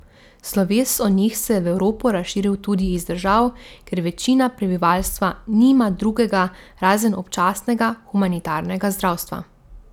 Sloves o njih se je v Evropo razširil tudi iz držav, kjer večina prebivalstva nima drugega razen občasnega humanitarnega zdravstva.